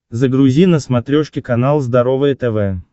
загрузи на смотрешке канал здоровое тв